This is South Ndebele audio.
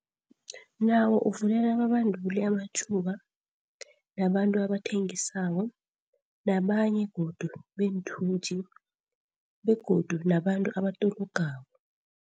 Nawo uvulela ababanduli amathuba, nabantu abathengisako, nabanye godu beenthuthi begodu nabantu abatologako.